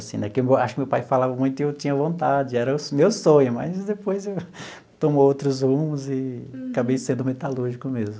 Assim né que acho que meu pai falava muito e eu tinha vontade, era o meu sonho, mas depois tomou outros rumos e acabei sendo metalúrgico mesmo.